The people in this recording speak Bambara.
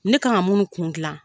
Ne kan ka munnu kun dilan